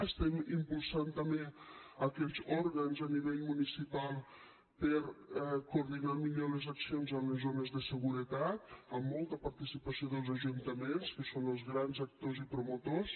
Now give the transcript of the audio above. estem impulsant també aquells òrgans a nivell municipal per coordinar millor les accions a les zones de seguretat amb molta participació dels ajuntaments que són els gran actors i promotors